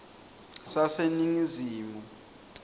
saseningizimu